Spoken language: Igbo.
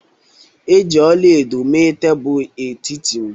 E ji ọla edo mee tebụl etiti m